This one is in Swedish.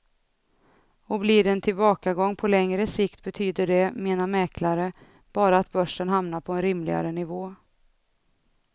Och blir det en tillbakagång på längre sikt betyder det, menar mäklare, bara att börsen hamnar på en rimligare nivå.